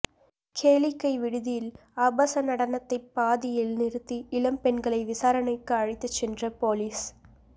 கேளிக்கை விடுதியில் ஆபாச நடனத்தை பாதியில் நிறுத்தி இளம் பெண்களை விசாரணைக்கு அழைத்துச் சென்ற போலீஸ்